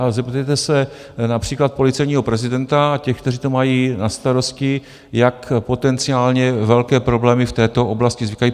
Ale zeptejte se například policejního prezidenta a těch, kteří to mají na starosti, jak potenciálně velké problémy v této oblasti vznikají.